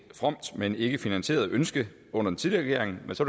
fromt men ikkefinansieret ønske under den tidligere regering men så